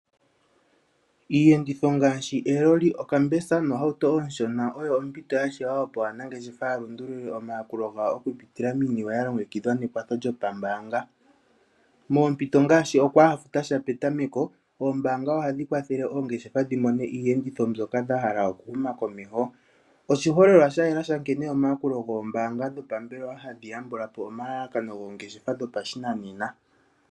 Iiyenditho ngaashi eloli, okambesa noohauto oonshona oyo ompito ya shewa opo aanangeshefa ya lundululile omayakulo gawo okupitila miiniwe ya longekidhwa nekwatho lyopambaanga. Moompito ngaashi okwaa ha futa sha petameko, ombaanga ohadhi kwathele oongeshefa dhi mone iiyenditho mbyoka dha hala okuhuma komeho. Oshiholelwa sha yela sha nkene omayakulo gombaanga dhopambelewa hadhi yambula po omalalakano goongeshefa dhopashinanena.